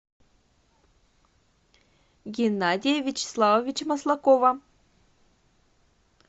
геннадия вячеславовича маслакова